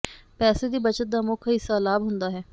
ਪੈਸੇ ਦੀ ਬੱਚਤ ਦਾ ਮੁੱਖ ਹਿੱਸਾ ਲਾਭ ਹੁੰਦਾ ਹੈ